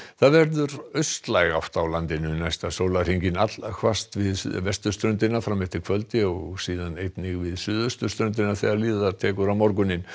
það verður austlæg átt á landinu næsta sólarhringinn allhvasst við vesturströndina fram eftir kvöldi og síðan einnig við suðurströndina þegar líður á morguninn